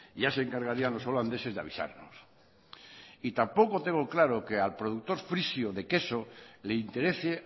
ya se encargarían los holandeses de avisarnos y tampoco tengo claro que al productor frisio de queso le interese